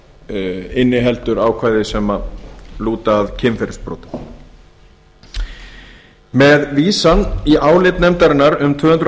kafli inniheldur ákvæði sem lúta að kynferðisbrotum með vísan í álit nefndarinnar um tvö hundruð